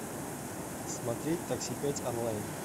смотреть такси пять онлайн